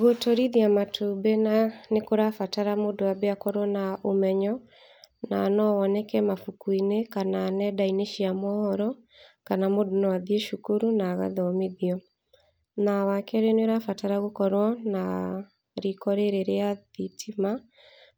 Gũtũrithia matumbĩ na, nĩ kũrabatara mũndũ ambe akorwo na ũmenyo, na no woneke mabuku-inĩ, kana nenda-inĩ cia mohoro, kana mũndũ no athiĩ cukuru na agathomithio. Na wa kerĩ nĩ ũrabatara gũkorwo na riko rĩrĩ rĩa thitima,